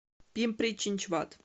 пимпри чинчвад